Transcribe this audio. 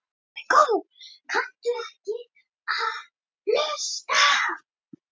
Þetta var búið og gert og ekki aftur tekið og ég var þreytt, dauðþreytt.